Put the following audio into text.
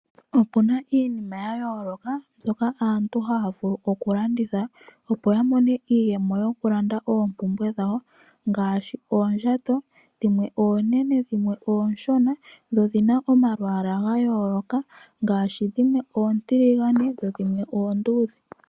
Opuna iinima ya yooloka mbyoka aantu haa vulu okulanditha opo ya mone iiyemo yokulanda oompumbwe dhawo ngaashi oondjato dhimwe oonene dhimwe ooshona dho odhi na omalwaala ga yooloka ngaashi dhimwe ontiligane dho dhimwe oonduudhe.